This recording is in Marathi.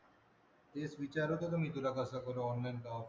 तेच विचारत होतो मी तुला कसं करू online का offline.